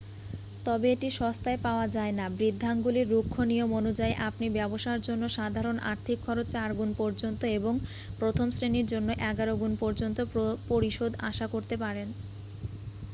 তবে এটি সস্তায় পাওয়া যায় নাঃ বৃদ্ধাঙ্গুলির রুক্ষ নিয়ম অনুযায়ী আপনি ব্যাবসার জন্য সাধারন আর্থিক খরচ 4 গুন পর্যন্ত এবং প্রথম শ্রেণীর জন্য এগারো গুণ পর্যন্ত পরিশোধ আশা করতে পারেন